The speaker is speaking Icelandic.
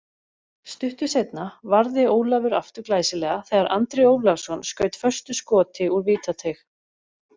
Stuttu seinna varði Ólafur aftur glæsilega þegar Andri Ólafsson skaut föstu skoti úr vítateig.